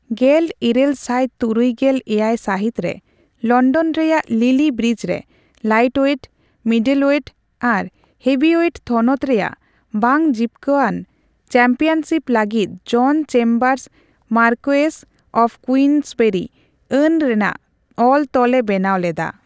ᱜᱮᱞ ᱤᱨᱟᱹᱞ ᱥᱟᱭ ᱛᱩᱨᱩᱭ ᱜᱮᱞ ᱮᱭᱟᱭ ᱥᱟᱹᱦᱤᱛ ᱨᱮ ᱞᱚᱱᱰᱚᱱ ᱨᱮᱭᱟᱜ ᱞᱤᱞᱤ ᱵᱨᱤᱡᱽ ᱨᱮ ᱞᱟᱭᱤᱴᱳᱭᱮᱴ, ᱢᱤᱰᱚᱞᱳᱭᱮᱴ ᱟᱨ ᱦᱮᱵᱷᱤᱳᱭᱮᱴ ᱛᱷᱱᱚᱛ ᱨᱮᱭᱟᱜ ᱵᱟᱝ ᱡᱤᱵᱽᱠᱟᱹᱣᱟᱱ ᱪᱟᱢᱯᱤᱭᱚᱱᱥᱤᱯ ᱞᱟᱜᱤᱫ John Chambers Marquess of Queensberry ᱟᱹᱱ ᱨᱮᱱᱟᱜ ᱚᱞᱼᱛᱚᱞ ᱮ ᱵᱮᱱᱟᱣ ᱞᱮᱫᱟ ᱾